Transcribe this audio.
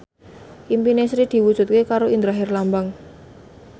impine Sri diwujudke karo Indra Herlambang